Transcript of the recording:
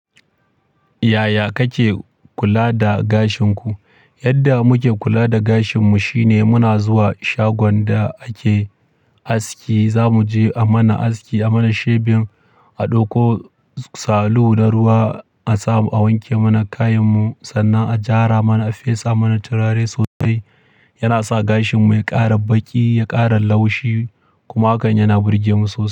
Yaya kake kula da gashin ku? Yadda muke kula da gashin mu shine muna zuwa shagon da ake aski, za mu je a mana aski, a mana shebin, a ɗauko salu da ruwa a samu a wanke mana kayan mu. Sannan a gyara mana, a fesa mana turare sosai. Yana sa gashin mu ya ƙara baƙi, ya ƙara laushi kuma hakan yana burge mu sosai.